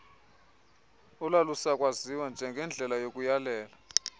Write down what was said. olalusakwaziwa njengendlela yokuyalela